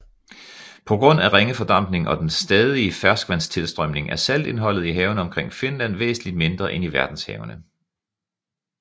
På grund af ringe fordampning og den stadige ferskvandstilstrømning er saltindholdet i havene omkring Finland væsentligt mindre end i verdenshavene